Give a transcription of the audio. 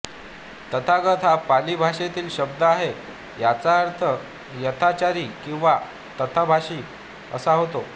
तथागत हा पाली भाषेतील शब्द आहे याचा अर्थ यथाचारी किंवा तथाभाषी असा होतो